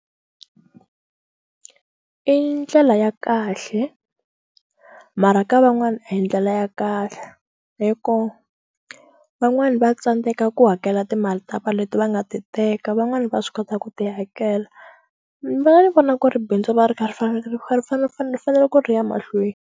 I ndlela ya kahle mara ka van'wana a hi ndlela ya kahle hi ku van'wani va tsandeka ku hakela timali ta va leti va nga ti teka van'wani va swi kota ku ti hakela ni vona ni vona ku ri bindzu va ri kha ri faneleke ri kha ri fanele ri fanele ri fanele ku ri ya mahlweni.